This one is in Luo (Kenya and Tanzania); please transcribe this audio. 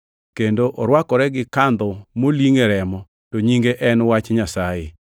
Kendo orwakore gi kandho molingʼ e remo, to nyinge en Wach Nyasaye.